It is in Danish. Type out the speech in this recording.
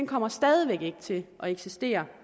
kommer stadig væk ikke til at eksistere